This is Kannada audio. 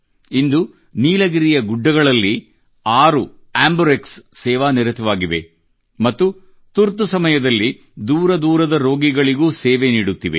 ಇಂದು ನೀಲಗಿರಿಯ ಗುಡ್ಡಗಳಲ್ಲಿ 6 ಆಂಬರ್ಕ್ಸ್ ಸೇವಾ ನಿರತವಾಗಿವೆ ಮತ್ತು ತುರ್ತು ಸಮಯದಲ್ಲಿ ದೂರದೂರದ ರೋಗಿಗಳಿಗೂ ಸೇವೆ ನೀಡುತ್ತಿವೆ